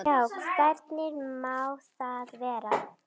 Já, en hvernig má það vera?